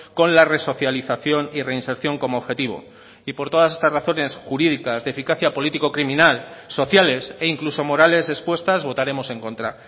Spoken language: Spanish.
con la resocialización y reinserción como objetivo y por todas estas razones jurídicas de eficacia político criminal sociales e incluso morales expuestas votaremos en contra